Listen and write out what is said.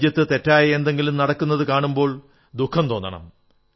രാജ്യത്ത് തെറ്റായ എന്തെങ്കിലും നടക്കുന്നതു കാണുമ്പോൾ ദുഃഖം തോന്നണം